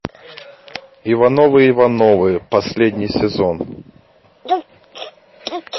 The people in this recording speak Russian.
ивановы ивановы последний сезон